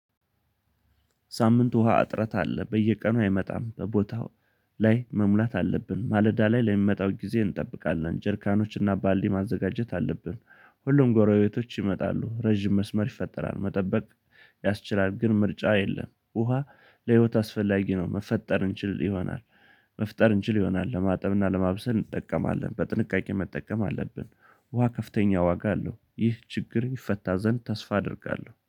ሳምንት ውሃ እጥረት አለ በየቀኑ አይመጣም በቦታው ላይ መሙላት አለብን ማለዳ ላይ ለሚመጣው ጊዜ እንጠብቃለን ጀርካኖችና ባልዲ ማዘጋጀት አለብን። ሁሉም ጎረቤቶች ይመጣሉ ረዥም መስመር ይፈጠራል መጠበቅ ያስችላል። ግን ምርጫ የለም ውሃ ለህይወት አስፈላጊ ነው። መፈጠር እንችል ይሆናል። መፍጠር እንችል ይሆናል ለማጠብና ለማብሰል እንጠቀማለን በጥንቃቄ መጠቀም አለብን። ውሃ ከፍተኛ ዋጋ አለው። ይህ ችግር ይፈታ ዘንድ ተስፋ አደርጋለሁ